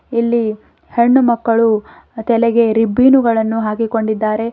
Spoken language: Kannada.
ಇಲ್ಲಿ ಹೆಣ್ಣು ಮಕ್ಕಳು ತಲೆಗೆ ರಿಬ್ಬೀನು ಗಳನ್ನು ಹಾಕಿಕೊಂಡಿದ್ದಾರೆ.